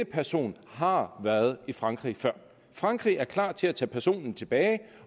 person har været i frankrig før og frankrig er klar til at tage personen tilbage